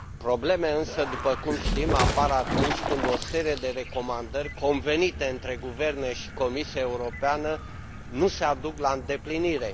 Problemele însă, după cum știm, apar atunci când o serie de recomandări convenite între guverne și Comisia Europeană nu se duc la îndeplinire.